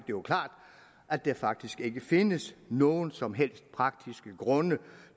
jo klart at der faktisk ikke findes nogen som helst praktiske grunde